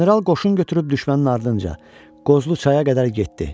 General qoşun götürüb düşmənin ardınca Qozlu çaya qədər getdi.